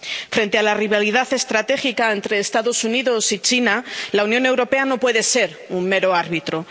Frente a la rivalidad estratégica entre los Estados Unidos y China, la Unión Europea no puede ser un mero árbitro.